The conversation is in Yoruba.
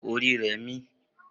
Orí rẹ̀ ń mí.